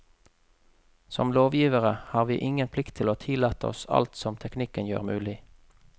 Som lovgivere har vi ingen plikt til å tillate alt som teknikken gjør mulig.